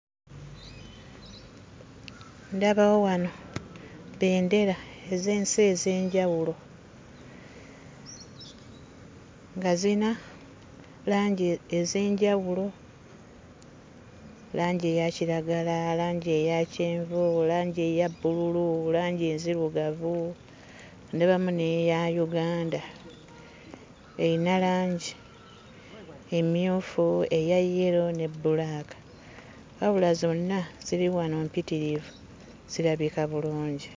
Ndabawo wano bbendera ez'ensi ez'enjawulo nga ziyina langi ez'enjawulo; langi eya kiragala, langi eya kyenvu, langi eya bbululu, langi enzirugavu. Ndabamu n'eya Uganda eyina langi emmyufu eya yero ne bbulaaka. Wabula zonna ziri wano mpitirivu, zirabika bulungi.